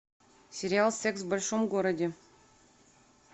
сериал секс в большом городе